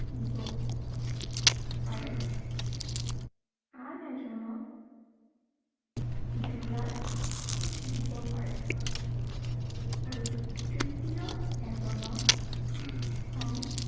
দিব পাৰে। আন এজনক বেজাৰ, দিব পাৰে। আৰু তৃতীয় এজনৰ খং